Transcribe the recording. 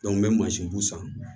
n bɛ mansinw san